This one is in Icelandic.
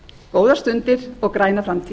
góðar stundir og græna framtíð